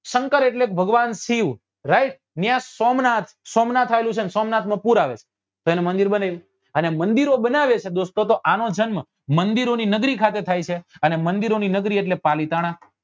શંકર એટલે ભગવાન શિવ right ત્યાં સોમનાથ સોમનાથ આવેલું છે ને સોમનાથ નું પુર આવે તો એને મંદિર બનાવ્યું અને મંદિરો બનાવે છે દોસ્તો તો આનો જન્મ મંદિરો ની નગરી ખાતે થાય છે અને મંદિરો ની નગરી એટલે પાલીતાણા